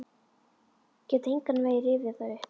Get engan veginn rifjað það upp.